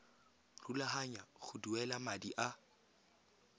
rulaganya go duela madi a